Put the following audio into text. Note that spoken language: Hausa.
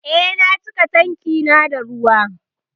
Eh, na cika tankin da ruwa